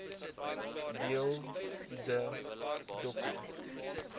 deel de doku